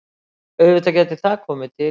Auðvitað gæti það komið til.